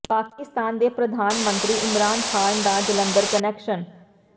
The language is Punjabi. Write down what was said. ਪਾਕਿਸਤਾਨ ਦੇ ਪ੍ਰਧਾਨ ਮੰਤਰੀ ਇਮਰਾਨ ਖਾਨ ਦਾ ਜਲੰਧਰ ਕਨੈਕਸ਼ਨ